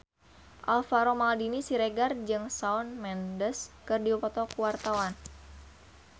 Alvaro Maldini Siregar jeung Shawn Mendes keur dipoto ku wartawan